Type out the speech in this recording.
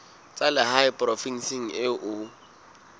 tsa lehae provinseng eo o